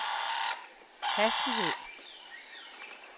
hastighed